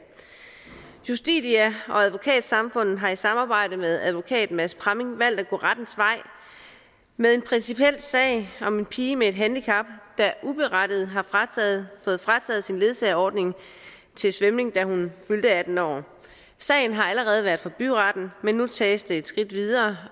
justitia og advokatsamfundet har i samarbejde med advokat mads pramming valgt at gå rettens vej med en principiel sag om en pige med et handicap der uberettiget har fået frataget sin ledsagerordning til svømning da hun fyldte atten år sagen har allerede været for byretten men nu tages den et skridt videre